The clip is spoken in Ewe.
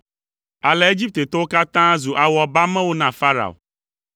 Ale Egiptetɔwo katã zu awɔbamewo na Farao.